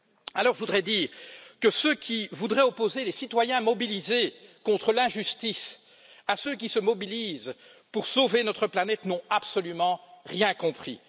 Alors je voudrais dire que ceux qui voudraient opposer les citoyens mobilisés contre l'injustice à ceux qui se mobilisent pour sauver notre planète n'ont absolument rien compris.